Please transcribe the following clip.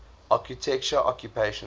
architecture occupations